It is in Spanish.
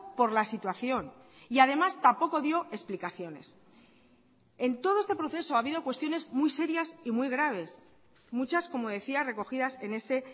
por la situación y además tampoco dio explicaciones en todo este proceso ha habido cuestiones muy serias y muy graves muchas como decía recogidas en ese